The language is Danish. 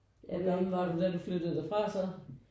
Hvor gammel var du da du flyttede derfra så?